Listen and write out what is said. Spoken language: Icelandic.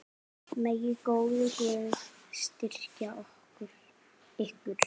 Megi góður Guð styrkja ykkur.